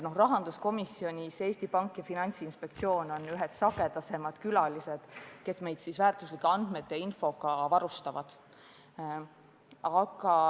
Rahanduskomisjonis on Eesti Panga ja Finantsinspektsiooni esindajad ühed sagedasemad külalised, kes meid väärtuslike andmete ja muu infoga varustavad.